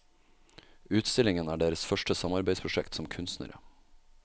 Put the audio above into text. Utstillingen er deres første samarbeidsprosjekt som kunstnere.